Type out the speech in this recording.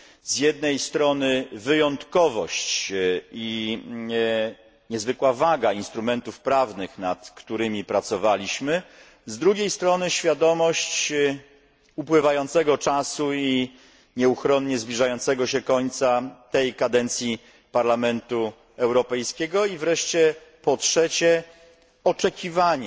Z jednej strony wyjątkowość i niezwykła waga instrumentów prawnych, nad którymi pracowaliśmy, z drugiej strony świadomość upływającego czasu i nieuchronnie zbliżającego się końca tej kadencji Parlamentu Europejskiego, i wreszcie, po trzecie, oczekiwanie